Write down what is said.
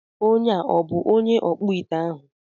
Onye a ọ bụ onye ọkpụite ahụ?